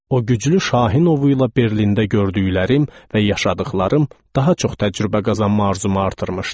O güclü Şahin ovla Berlində gördüklərim və yaşadıqlarım daha çox təcrübə qazanma arzumu artırmışdı.